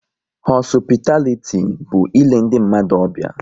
Họsupitaliti bụ île ndị mmadụ ọbịa